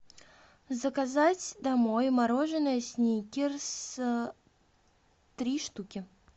заказать домой мороженое сникерс три штуки